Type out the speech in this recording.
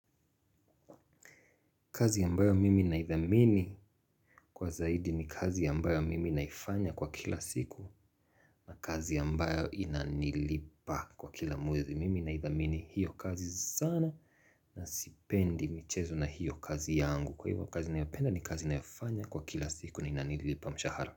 Kazi ambayo mimi naithamini kwa zaidi ni kazi ambayo mimi naifanya kwa kila siku na kazi ambayo inanilipa kwa kila mwezi. Mimi naithamini hiyo kazi sana na sipendi michezo na hiyo kazi yangu. Kwa hivyo kazi naipenda ni kazi naifanya kwa kila siku na inanilipa mshahara.